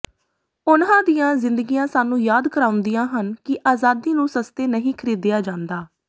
ਉਨ੍ਹਾਂ ਦੀਆਂ ਜ਼ਿੰਦਗੀਆਂ ਸਾਨੂੰ ਯਾਦ ਕਰਾਉਂਦੀਆਂ ਹਨ ਕਿ ਆਜ਼ਾਦੀ ਨੂੰ ਸਸਤੇ ਨਹੀਂ ਖਰੀਦਿਆ ਜਾਂਦਾ